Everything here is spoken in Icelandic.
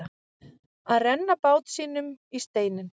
Að renna bát sínum í steininn